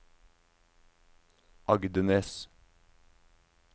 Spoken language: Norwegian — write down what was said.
Agdenes